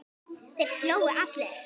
Þeir hlógu allir.